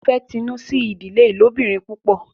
Wón fè Tinu sí ìdílé ilobirin pupọ